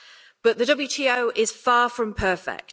But the WTO is far from perfect.